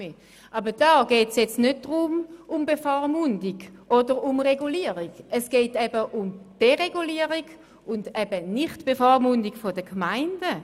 Aber hier geht es nicht um Bevormundung oder um Regulierung, sondern es geht eben um Deregulierung und Nicht-Bevormundung der Gemeinden.